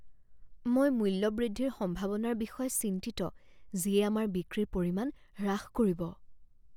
মই মূল্য বৃদ্ধিৰ সম্ভাৱনাৰ বিষয়ে চিন্তিত যিয়ে আমাৰ বিক্ৰীৰ পৰিমাণ হ্ৰাস কৰিব।